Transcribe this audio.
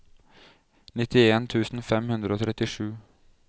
nittien tusen fem hundre og trettisju